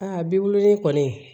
Aa bi wololen kɔni